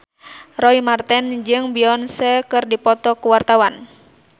Roy Marten jeung Beyonce keur dipoto ku wartawan